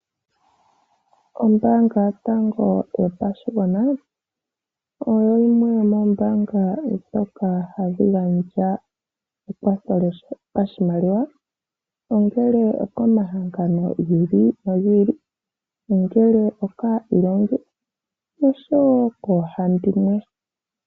Ombaanga yotango yopashigwana oyo yimwe yomoombanga ndhoka hadhi gandja ekwatho lyo pa shimaliwa, ongele okomahangano gi ili nogi ili, ongele okaailongi oshowo koohandimwe.